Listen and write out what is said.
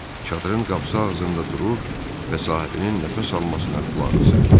Çadırın qapısı ağzında durur və sahibinin nəfəs almasına qulaq asırdı.